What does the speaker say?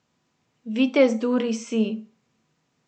Vitez Duri si.